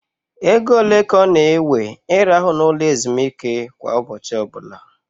Égo ole ka ọ na ewe I rahụ na ụlọ ezumike kwa ụbọchị ọbụla?